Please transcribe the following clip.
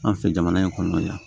An fɛ jamana in kɔnɔna la yan